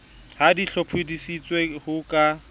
ha di hlophiseditswe ho ka